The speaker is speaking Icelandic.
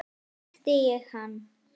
Snerti ég hann?